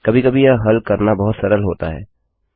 कभी कभी यह हल करना बहुत सरल होता है